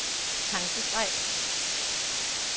tankestreg